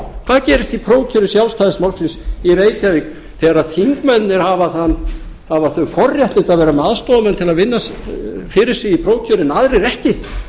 hvað gerist í prófkjöri sjálfstæðisflokksins í reykjavík þegar þingmennirnir hafa þau forréttindi að vera með aðstoðarmenn til að vinna fyrir sig í prófkjöri en aðrir ekki